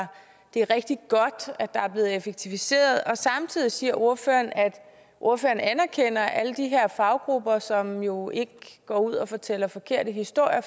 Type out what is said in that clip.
det er rigtig godt at der er blevet effektiviseret samtidig siger ordføreren at ordføreren anerkender alle de her faggrupper som jo ikke går ud og fortæller forkerte historier